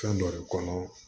Fɛn dɔ de kɔnɔ